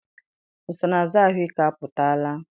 Nsonaazụ ahụike apụtala?